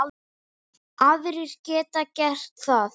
Aðrir geta gert það.